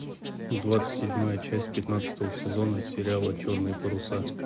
двадцать седьмая часть пятнадцатого сезона сериала черные паруса